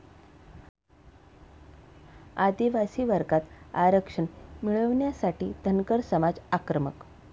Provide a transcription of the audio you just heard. आदिवासी वर्गात आरक्षण मिळवण्यासाठी धनगर समाज आक्रमक